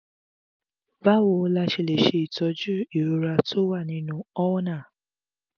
báwo la ṣe lè tọ́jú ìrora tó wà nínú ulna?